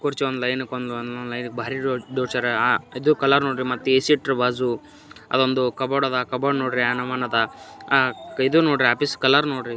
ಕುರ್ಚಿ ಒಂದ ಲೈನ ಕ ಒಂದ ಒಂದ ಲೈನ ಕ ಭಾರಿ ಜೋಡ್ಸಯಾರ ಆ ಇದು ಕಲಾ ನೋಡ್ರಿ ಮತ್ತ ಎ.ಸಿ ಇಟ್ಟಾರ ಬಾಜು ಅದೊಂದು ಕಬೋರ್ಡ್ ಅದ ಕಬೋರ್ಡ್ ನೋಡ್ರಿ ಯಾ ನಮೂನಿ ಅದ ಅ ಇದು ನೋಡ್ರಿ ಆಫೀಸ್ ಕಲರ್ ನೋಡ್ರಿ.